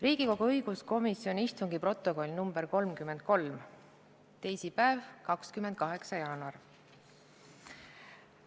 Riigikogu õiguskomisjoni istungi protokoll nr 33, teisipäev, 28. jaanuar.